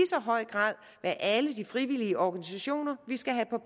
så høj grad være alle de frivillige organisationer vi skal have på